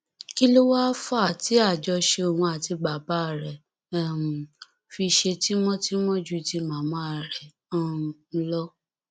kí ló wáá fà á tí àjọṣe òun àti bàbá rẹ um fi ṣe tímọtímọ ju ti màmá rẹ um lọ